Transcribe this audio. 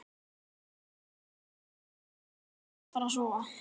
Ég er kominn heim og alveg að fara að sofa.